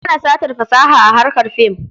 An hana satar fasaha a harkar fim.